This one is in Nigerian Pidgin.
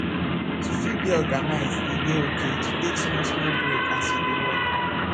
to fit dey organized e dey okay to take small small break as you dey work